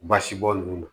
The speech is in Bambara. Basibɔn ninnu na